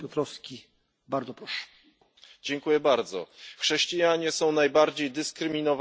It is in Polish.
Chrześcijanie są najbardziej dyskryminowaną i prześladowaną grupą religijną na świecie.